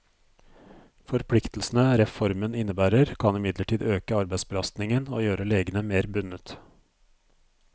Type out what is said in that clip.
Forpliktelsene reformen innebærer, kan imidlertid øke arbeidsbelastningen og gjøre legene mer bundet.